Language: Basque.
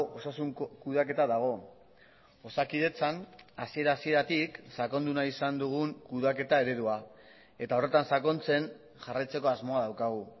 osasun kudeaketa dago osakidetzan hasiera hasieratik sakondu nahi izan dugun kudeaketa eredua eta horretan sakontzen jarraitzeko asmoa daukagu